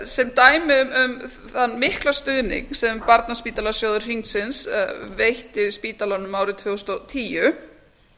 sem dæmi um þann mikla stuðning sem barnaspítalasjóður hringsins veitti spítalanum árið tvö þúsund og tíu